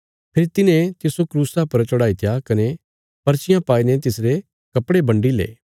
फेरी तिन्हे तिस्सो क्रूसा पर चढ़ाईत्या कने पर्चियां पाईने तिसरे कपड़े बन्डी ले